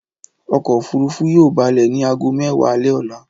Ọkọ̀-òfurufú yóò balẹ̀ ní ago mẹ́wàá alẹ́ lọ́la.